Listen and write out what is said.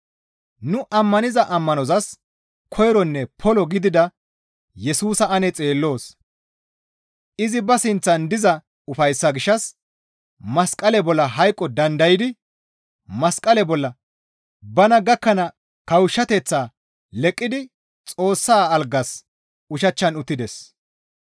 Nu ammaniza ammanozas koyronne polo gidida Yesusa ane xeelloos; izi ba sinththan diza ufayssaa gishshas masqale bolla hayqo dandaydi masqale bolla bana gakkana kawushshateththaa leqqidi Xoossa algaas ushachchan uttides.